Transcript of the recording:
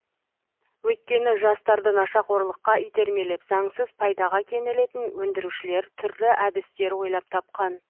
өйткені жастарды нашақорлыққа итермелеп заңсыз пайдаға кенелетін өндірушілер түрлі әдістер ойлап тапқан